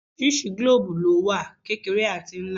Oríṣiríṣi gílòòòbù lówà: kékeré àti ńlá.